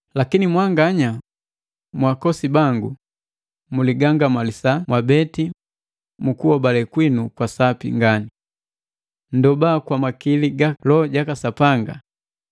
Lakini mwanganya, mwaakosi bangu, muligangamalisa mwabeti mu kuhobale kwinu kwa Sapi ngani. Nndoba kwa makili ga Loho jaka Sapanga,